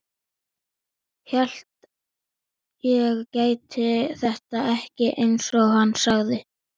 Hélt ég gæti þetta ekki, einsog hann sagði.